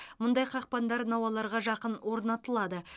мұндай қақпандар науаларға жақын орнатылады